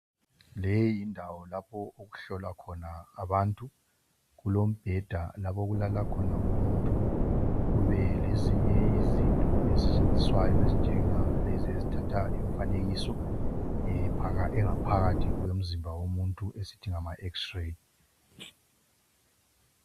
Leyi yindawo lapho okuhlolwa khona abantu kulombheda lapho okulala khona umuntu kube lezinye izinto ezisetshenziswayo ezinjengalezi ezithatha imifanekiso ingaphakathi yomzimba yomuntu esithi ngamaX-ray.